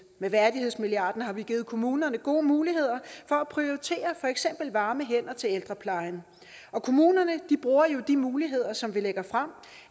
med værdighedsmilliarden har vi givet kommunerne gode muligheder for at prioritere for eksempel varme hænder til ældreplejen og kommunerne bruger jo de muligheder som vi lægger frem